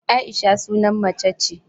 Aisha sunan macce ce